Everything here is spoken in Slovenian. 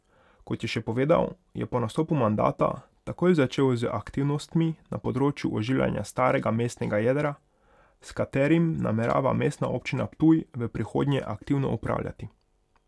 Kot je še povedal, je po nastopu mandata takoj začel z aktivnostmi na področju oživljanja starega mestnega jedra, s katerim namerava Mestna občina Ptuj v prihodnje aktivno upravljati.